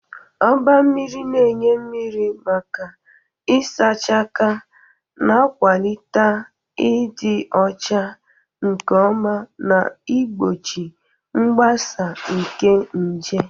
Oba mmiri na-enye mmiri maka ịsacha aka, na-akwalite ịdị ọcha nke ọma na igbochi mgbasa nke nje.